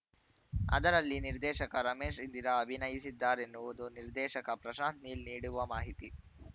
ಅದರಲ್ಲಿ ನಿರ್ದೇಶಕ ರಮೇಶ್‌ ಇಂದಿರಾ ಅಭಿನಯಿಸಿದ್ದಾರೆನ್ನುವುದು ನಿರ್ದೇಶಕ ಪ್ರಶಾಂತ್‌ ನೀಲ್‌ ನೀಡುವ ಮಾಹಿತಿ